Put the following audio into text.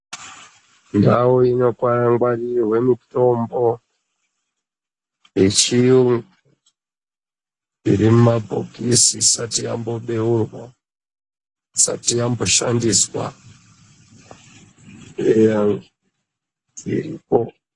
Ndau ino ngwarirwe mitombo ye chiyungu iri mu mabhokisi isati yambo beurwa isati yambo shandiswa eya dziripo.